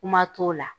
Kuma t'o la